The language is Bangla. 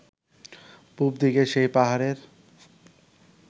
পুবদিকের সেই পাহাড়ের